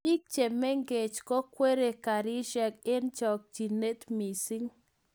biik chemengech kokwerie karishek eng chokchinet missing